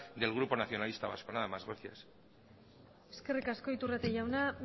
del grupo nacionalista vasco nada más gracias eskerrik asko iturrate jauna